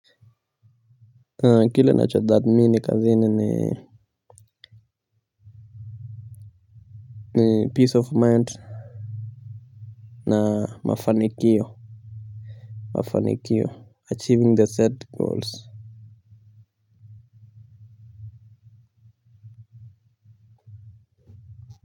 Kile ninachothamini kazini ni peace of mind na mafanikio, achieving the set goals.